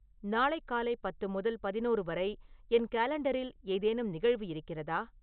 நாளை காலை பத்து முதல் பதினொரு வரை என் காலண்டரில் ஏதேனும் நிகழ்வு இருக்கிறதா